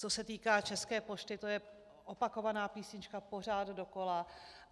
Co se týká České pošty, to je opakovaná písnička pořád dokola.